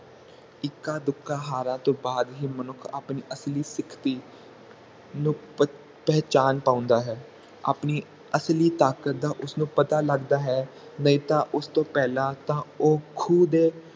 ਇੱਕਾ ਦੁੱਕਾ ਹਾਰਾਂ ਤੋਂ ਬਾਅਦ ਹੀ ਮਨੁੱਖ ਆਪਣੀ ਅਸਲੀ ਨੂੰ ਪਹਿਚਾਣ ਪਾਉਂਦਾ ਹੈ ਆਪਣੀ ਅਸਲੀ ਤਾਕਤ ਦਾ ਉਸਨੂੰ ਪਤਾ ਲਗਦਾ ਹੈ ਨਹੀਂ ਤਾ ਉਸ ਤੋਂ ਪਹਿਲਾਂ ਤਾ ਉਹ ਖੂ ਦੇ